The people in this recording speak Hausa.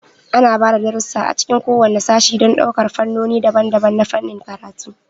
Ana ba da darussa a cikin kowane sashe don ɗaukar fannoni daban-daban na fannin karatu.